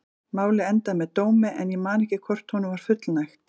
Málið endaði með dómi en ég man ekki hvort honum var fullnægt.